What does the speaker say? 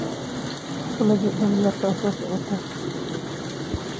xafladee dhalinyarada soo socota?